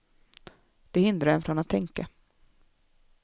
Det hindrar en från att tänka.